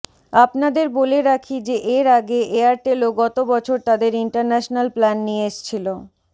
আপনাদের বলে রাখি যে এর আগে এয়ারটেলও গত বছর তাদের ইন্টারন্যাশানাল প্ল্যান নিয়ে এসছিল